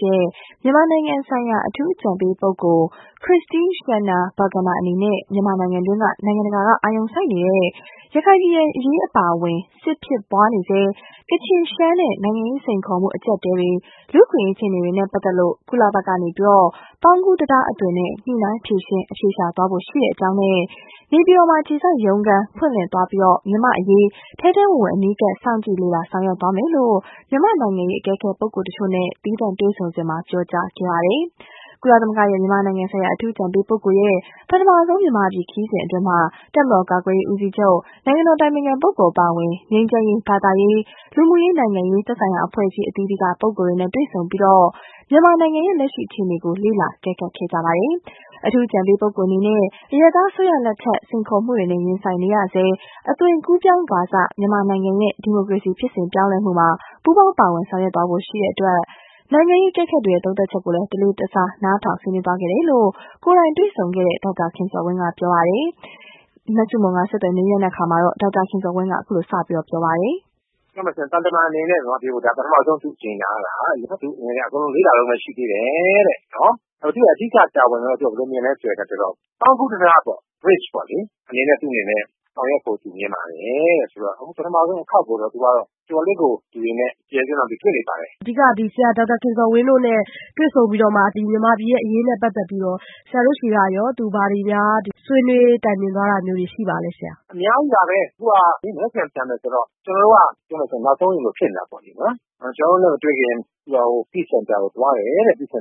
ရဲ့ မြန်မာနိုင်ငံဆိုင်ရာ အထူးအကြံပေးပုဂ္ဂိုလ် Christine Schraner Burgener အနေနဲ့ မြန်မာနိုင်ငံတွင်းက နိုင်ငံတကာက အာရုံစိုက်နေတဲ့ ရခိုင်ပြည်နယ်အရေး အပါအဝင် စစ်ဖြစ်ပွားနေဆဲ ကချင်၊ ရှမ်းနဲ့ နိုင်ငံရေး စိန်ခေါ်မှုအကြပ်အတည်းတွေ လူ့အခွင့်အရေး အခြေအနေတွေနဲ့ပတ်သက်လို့ ကုလဘက်က ပေါင်းကူးတံတားအသွင်နဲ့ ညှိနှိုင်းဖြေရှင်း အဖြေရှာသွားဖို့ ရှိကြောင်းနဲ့ နေပြည်တော်မှာ အခြေစိုက်ရုံးခန်းဖွင့်လှစ်သွားပြီး မြန်မာ့အရေးထဲထဲဝင်ဝင် အနီးကပ်စောင့်ကြည့်လေ့လာဆောင်ရွက်သွားမယ်လို့ မြန်မာ့နိုင်ငံရေးအကဲခတ်ပုဂ္ဂိုလ်တချို့နဲ့သီးသန့်တွေ့ဆုံစဉ်ပြောကြားခဲ့ပါတယ်။ ကုလရဲ့ မြန်မာနိုင်ငံဆိုင်ရာအထူးအကြံပေးပုဂ္ဂိုလ်ရဲ့ ပထမဆုံး မြန်မာပြည်ခရီးစဉ်အတွင်း တပ်မတော်ကာကွယ်ရေးဦးစီးချုပ်၊ နိုင်ငံတော်အတိုင်ပင်ခံပုဂ္ဂိုလ် အပါအဝင် ငြိမ်းချမ်းရေး၊ ဘာသာရေး၊ လူမှုရေး နိုင်ငံရေး သက်ဆိုင်ရာအဖွဲ့အစည်းအသီးသီးက ပုဂ္ဂိုလ်တွေနဲ့ တွေ့ဆုံပြီး မြန်မာနိုင်ငံ လက်ရှိအခြေအနေကို လေ့လာအကဲခတ်ခဲ့တာပါ။ အထူးအကြံပေးပုဂ္ဂိုလ်အနေနဲ့ အရပ်သားအစိုးရ လက်ထက် စိန်ခေါ်မှုတွေနဲ့ရင်ဆိုင်နေရဆဲ အသွင်ကူးပြောင်းကာစ မြန်မာနိုင်ငံရဲ့ ဒီမိုကရေစီဖြစ်စဉ်ပြောင်းလဲမှုမှာ ပူးပေါင်းပါဝင်ဆောင်ရွက်သွားဖို့အတွက် နိုင်ငံရေးအကဲခတ်တွေရဲ့ သုံးသပ်ချက်တွေကိုလည်း တလေးတစား နားထောင်ဆွေးနွေးသွားခဲ့တယ်လို့ ကိုယ်တိုင်တွေ့ဆုံခဲ့သူ ဒေါက်တာခင်ဇော်ဝင်းကို မဆုမွန် ဆက်သွယ်မေးမြန်းစဉ် သူက အခုလိုပြောပါတယ်။ ပြောမယ်ဆိုရင် သံတမန်အနေနဲ့ မြန်မာပြည်ကို ပထမဦးဆုံးအကြိမ်လာတာ ။ လေ့လာတုန်းပဲရှိသေးတယ်တဲ့ သူ့အဓိက တာဝန်ကိုတော့ ဘယ်လိုမြင်သလဲဆိုရင် ပေါင်းကူးတံတားပေါ့လေ သူ့အနေနဲ့ ဆောင်ရွက်ဖို့ မြင်ပါတယ်တဲ့။ အခုပထမဦးဆုံးတခေါက်ကိုတော့ တော်တော်လေးကို ကျယ်ကျယ်ပြန့်ပြန့်တွေ့လိုက်ပါတယ်။ ဒေါက်တာခင်ဇော်ဝင်းတို့နဲ့ တွေ့ဆုံပြီး မြန်မာပြည်ရဲ့အရေးနဲ့ ပတ်သက်ပြီးတော့ ဘာတွေများဆွေးနွေးတိုင်ပင်သွားတာမျိုးရှိပါသလဲ။ အများကြီးပါ သူက မနက်ဖြန်ပြန်မယ်ဆိုတော့ ကျနော်တို့က နောက်ဆုံးလိုဖြစ်နေတာပေါ့နော် ကျနော်တို့နဲ့ မတွေ့ခင် Peace Center ကိုသွားတယ် တွေပစ